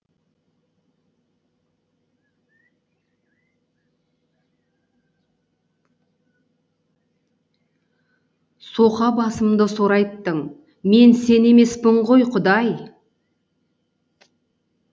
соқа басымды сорайттың мен сен емеспін ғой құдай